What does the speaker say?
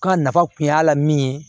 Ka nafa kun y'a la min ye